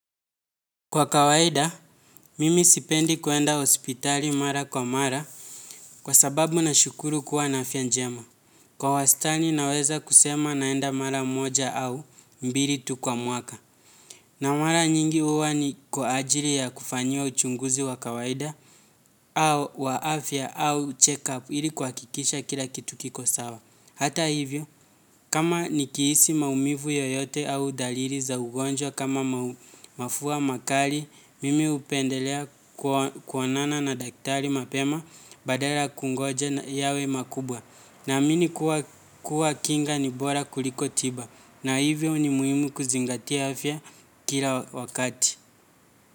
Kwa kawaida, mimi sipendi kuenda hospitali mara kwa mara kwa sababu nashukuru kuwa na afya njema. Kwa wastani naweza kusema naenda mara moja au mbili tu kwa mwaka. Na mara nyingi huwa ni kwa ajili ya kufanyiwa uchunguzi wa kawaida au wa afya au check-up ili kuhakikisha kila kitu kiko sawa. Hata hivyo, kama nikihisi maumivu yoyote au dalili za ugonjwa kama mafua makali, mimi hupendelea kuonana na daktari mapema badala kungoja yawe makubwa. Naamini kuwa kinga ni bora kuliko tiba. Na hivyo ni muhimu kuzingatia afya kila wakati.